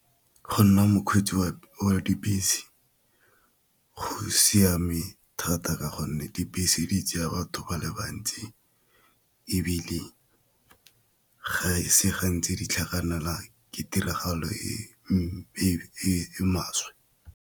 Go nna mokgweetsi wa dibese go siame thata ka gonne dibese di tsaya batho ba le bantsi, ebile ga e se gantsi di tlhagelelwa ke tiragalo e maswe.